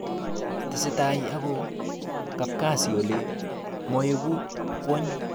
Tesetai ago kapkazi Ole moeku kwony